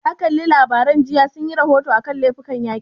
Ka kalla labarai jiya, sun yi rahoto a kan laifukan yaƙi?